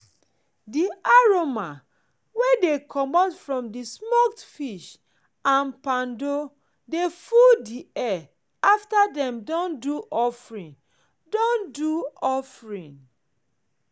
di aroma wey dey comot from di smoked fish and poundo dey full air after dem don do offering. don do offering.